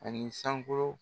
Ani sankolo